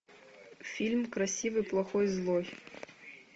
фильм красивый плохой злой